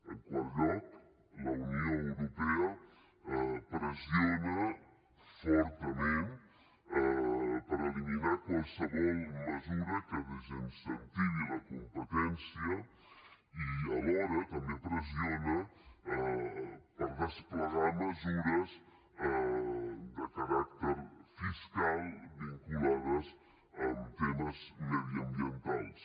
en quart lloc la unió europea pressiona fortament per eliminar qualsevol mesura que desincentivi la competència i alhora també pressiona per desplegar mesures de caràcter fiscal vinculades amb temes mediambientals